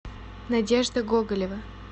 надежда гоголева